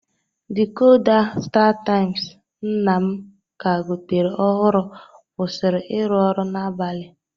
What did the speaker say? Dïkoda stataimz nna m ka gotere ọhụrụ kwụsịrị ịrụ ọrụ n'abalị.